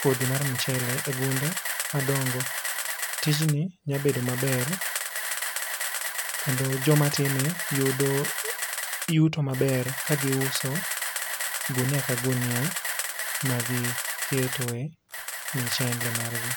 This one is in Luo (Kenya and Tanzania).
kodhi mar michele e ogunde madongo. Tij ni nya bedo maber kendo joma time yudo yuto maber ka gi uso gunia ka gunia ma gi ketoe michele mar gi.